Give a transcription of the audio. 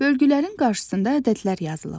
Bölgələrin qarşısında ədədlər yazılıb.